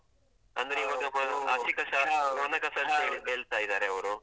.